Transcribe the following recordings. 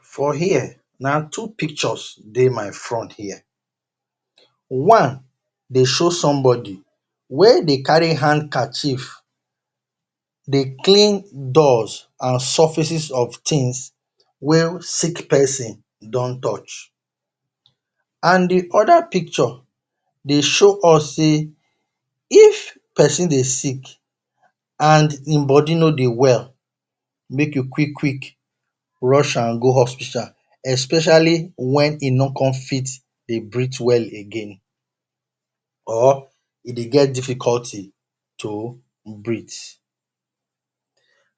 For here na two pictures dey my front here. One dey show somebody wey dey carry handkerchief dey clean dust and surfaces of things wey sick person don touch. And de other picture dey show us sey if person dey sick and im body no dey well make you quick-quick rush am go hospital especially wen e no con fit breath again or e dey get difficulty to breath.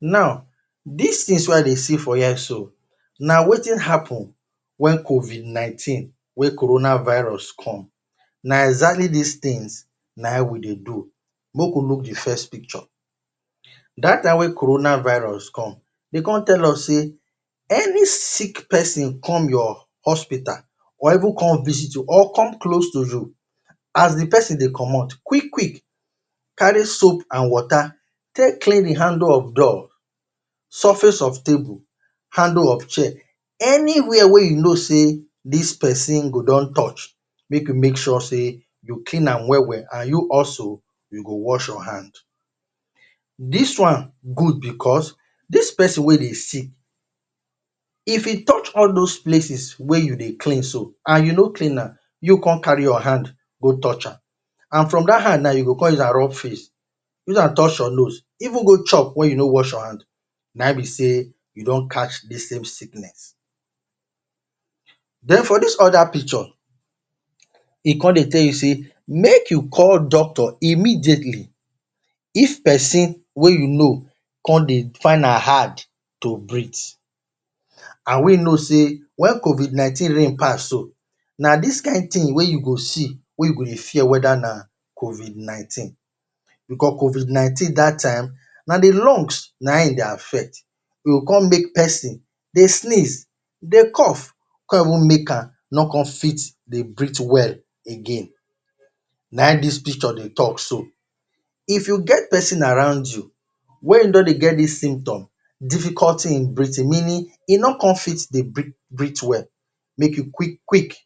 Now, dis things wey I dey see for here so na wetin happen wen COVID-NINETEEN wey corona virus come. Na exactly dis things na im we dey do. Make we look de first picture, dat time wey corona virus come dey come tell us sey any sick person come your hospital or even come visit you or even come close to you as de pesin dey commot quick-quick carry soap and water take clean de handle of door ,surface of table ,handle of chair, anywhere wey you know sey dis person go don touch make you make sure sey you clean well-well and you also you go wash your hand. Dis one good because dis person wey dey sick if e touch all those places wey you dey clean so and you no clean am you con carry your hand go touch am and from dat hand nah you go come use am rub face use am touch your nose even go chop wen you no wash your hand. Na im be sey you don catch dis sam sickness. Den for dis other picture, e con tell you sey make you call doctor immediately. If pesin wey you know con dey find am hard to breath and we no sey COVID-NINETEEN rein pass so na dis kind thing wey you go see wey you go dey fear whether na COVID-NINETEEN. Because COVID-NINETEEN dat time na de lungs na im e dey affect. E go con make pesin dey sneeze, dey cough, con even make am no fit dey breath well again. Na im dis picture dey talk so. If you get pesin around you wey im don dey get dis symptom, difficulty in breathing meaning e no fit con dey breath well make you quick-quick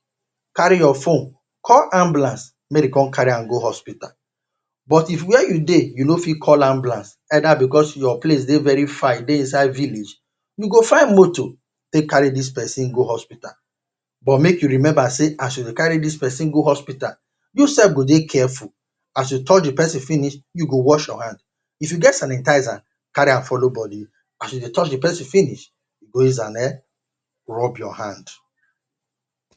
carry your phone call ambulance make dem con carry am go hospital. But if where you dey, you no fit call ambulance, either because you place dey very far e dey inside village. You go find motor take carry dis pesin go hospital. But make you remember sey as you dey carry pesin go hospital, you sef go dey careful. As you touch de pesin finish you go wash your hand. If you get sanitizer carry am follow bodi as you touch de pesin finish you go use[um]rub your hand.